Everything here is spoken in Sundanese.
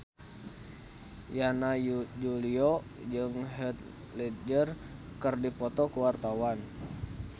Yana Julio jeung Heath Ledger keur dipoto ku wartawan